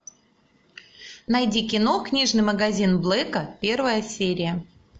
найди кино книжный магазин блэка первая серия